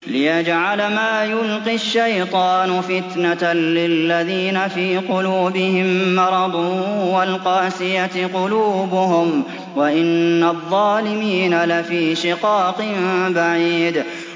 لِّيَجْعَلَ مَا يُلْقِي الشَّيْطَانُ فِتْنَةً لِّلَّذِينَ فِي قُلُوبِهِم مَّرَضٌ وَالْقَاسِيَةِ قُلُوبُهُمْ ۗ وَإِنَّ الظَّالِمِينَ لَفِي شِقَاقٍ بَعِيدٍ